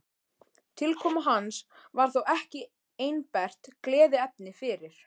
Tilkoma hans var þó ekki einbert gleðiefni fyrir